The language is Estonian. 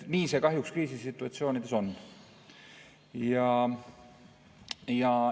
Nii see kahjuks kriisisituatsioonides on.